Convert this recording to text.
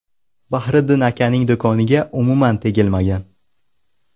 Bahriddin akaning do‘koniga umuman tegilmagan.